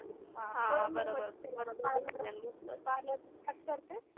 हां म्हणून मी म्हणलं पार्लरचं पार्लरचं स्टार्ट करते.